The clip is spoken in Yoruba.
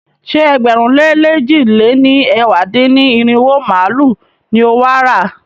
Ṣé ẹgbẹ̀rún lé lèjì lé ní ẹ̀wá dín-ní-irinwó màálu ni o wà á rà?